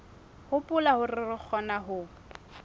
hopola hore re kgona ho